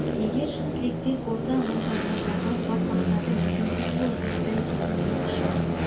егер шын тілектес болсаң онда ойға алған бар мақсатым өзіңсің ғой меңтай дедім мен ішімнен